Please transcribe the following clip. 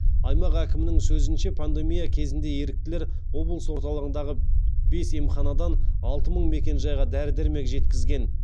аймақ әкімінің сөзінше пандемия кезінде еріктілер облыс орталығындағы бес емханадан алты мың мекенжайға дәрі дәрмек жеткізген